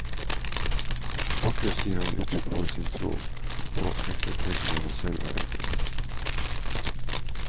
Vakrest gir han uttrykk for sin tro på enkelheten når han selv er enkel.